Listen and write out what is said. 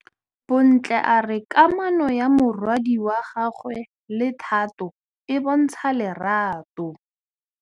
Bontle a re kamanô ya morwadi wa gagwe le Thato e bontsha lerato.